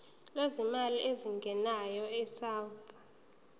lwezimali ezingenayo isouth